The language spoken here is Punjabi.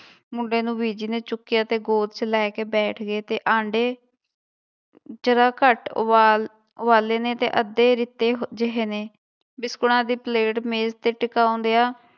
ਮੁੰਡੇ ਨੂੰ ਬੀਜੀ ਨੇ ਚੁੱਕਿਆ ਤੇ ਗੋਦ ਚ ਲੈ ਕੇ ਬੈਠ ਗਏ ਤੇ ਆਂਡੇ ਜ਼ਰਾ ਘੱਟ ਉਬਾਲ ਉਬਾਲੇ ਨੇ ਤੇ ਅੱਧੇ ਰਿੱਤੇ ਜਿਹੇ ਨੇ, ਬਿਸਕੁਟਾਂ ਦੀ ਪਲੇਟ ਮੇਜ ਤੇ ਟਕਾਉਂਦਿਆਂ